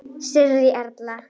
Sirrý Erla.